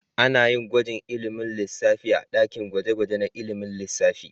Ana yin gwajin ilimin lissafi a dakin gwaje-gwaje na ilimin lissafi.